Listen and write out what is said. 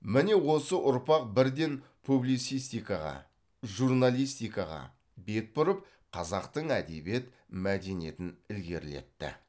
міне осы ұрпақ бірден публицистикаға журналистикаға бет бұрып қазақтың әдебиет мәдениетін ілгерілетті